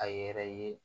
A yɛrɛ ye